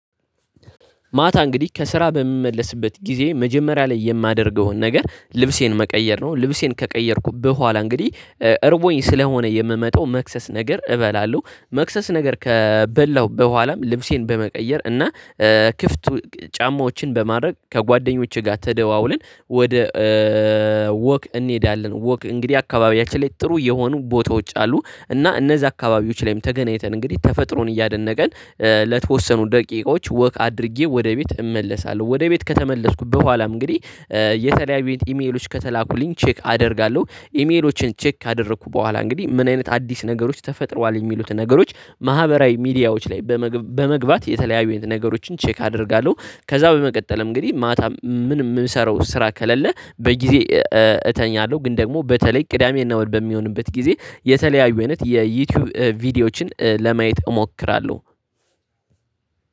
ማታ እንግዲህ ከስራ በምመለስበት ጊዜ መጀመሪያ ላይ የማደርገውን ነገር ልብሴን መቀየር ነው። ልብሴን ከቀየርኩ በኋላ እንግዲህ እረቦኝ ስለሆነ የምመጣው መክሰስ ነገር እበላለሁ መክሰስ ነገር ከበላሁ በኋላም ልብሴን በመቀየር እና ክፍት ጫማዎችን በማድረግ ከጓደኞቼ ጋር ተደዋውልን ወደ ወክ እንሄዳለን። ወክ እንግዲህ አካባቢያችን ላይ ጥሩ የሆኑ ቦታዎች አሉ እና እነዚህ አካባቢዎች ላይም ተገናኝተን እንግዲህ ተፈጥሮን እያደነቀን ለተወሰኑ ደቂቃዎች ወክ አድርጌ ወደ ቤት እመለሳለሁ። ወደ ቤት ከተመለስኩ በኋላ እንግዲህ የተለያዩኝ ኢሜሎች ከተላኩልኝ ቼክ አደርጋለሁ ኢሜሎችን ቼክ ካደረኩ በኋላ እንግዲህ ምን አይነት አዲስ ነገሮች ተፈጥሯል የሚሉትን ነገሮች ማህበራዊ ሚዲያዎች ላይ በመግባት የተለያዩ ነገሮችን ቼክ አደርጋለሁ። ከዛ በመቀጠልም እንግዲህ ማታ ምን ምንም የምሰራው ስራ ከሌለ በጊዜ እተኛለሁ። ግን ደግሞ በተለይ ቅዳሜ እና እሁድ በሚሆንበት ጊዜ የተለያዩ አይነት የዩቲዩብ ቪዲዮዎችን ለማየት እሞክራለሁ።